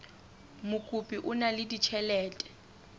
mokopi o na le ditjhelete